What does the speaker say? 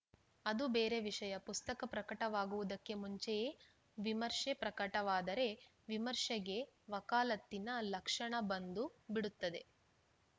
ಅದು ಬೇರೆ ವಿಷಯ ಪುಸ್ತಕ ಪ್ರಕಟವಾಗುವುದಕ್ಕೆ ಮುಂಚೆಯೇ ವಿಮರ್ಶೆ ಪ್ರಕಟವಾದರೆ ವಿಮರ್ಶೆಗೆ ವಕಾಲತ್ತಿನ ಲಕ್ಷಣ ಬಂದು ಬಿಡುತ್ತದೆ